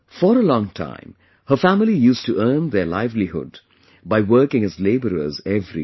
For a long time, her family used to earn their livelihood by working as laborers every day